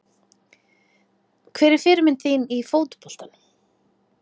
Hver er fyrirmynd þín í fótboltanum?